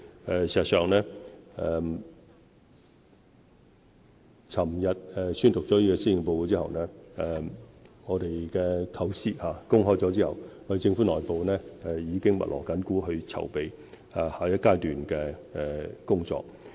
事實上，昨天宣讀施政報告，公開我們的構思後，政府內部已密鑼緊鼓籌備下一階段的工作。